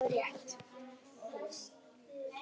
Vonandi er það rétt.